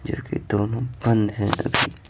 जो कि दोनों बंद हैं अभी--